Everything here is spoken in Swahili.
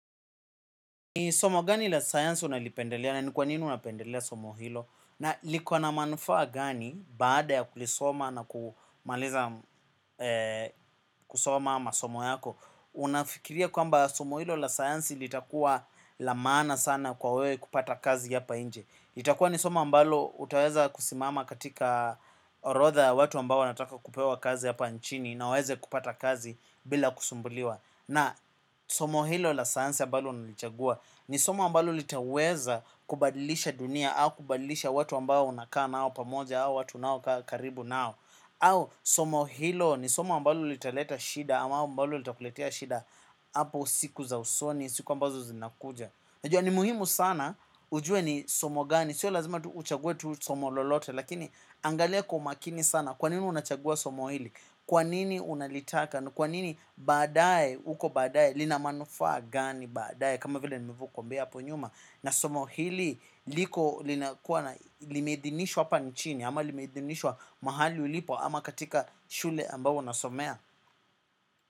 Ni somo gani la sayansi unalipendelea na ni kwa nini unapendelea somo hilo? Na liko na manufaa gani baada ya kulisoma na kumaliza kusoma masomo yako. Unafikiria kwamba somo hilo la sayansi litakua la maana sana kwa wewe kupata kazi hapa nje. Itakuwa ni somo ambalo utaweza kusimama katika orodha ya watu ambao wanataka kupewa kazi hapa nchini. Na waweze kupata kazi bila kusumbuliwa. Na somo hilo la sayansi ambalo nilichagua ni somo ambalo litaweza kubadilisha dunia. Au kubadilisha watu ambao unakaa nao pamoja. Au watu unaokaa karibu nao. Au somo hilo ni somo ambalo litaleta shida. Ama mbalo litakuletea shida hapo siku za usoni, siku ambazo zinakuja unajua ni muhimu sana ujue ni somo gani. Sio lazima tu uchague tu somo lolote. Lakini angalia kwa umakini sana. Kwa nini unachagua somo hili. Kwa nini unalitaka. Ni kwa nini baadae, huko baadae, lina manufaa gani baadae. Kama vile nilivyokwambia hapo nyuma na somo hili liko limeidhinishwa hapa nchini. Ama limeidhinishwa mahali ulipo ama katika shule ambao unasomea.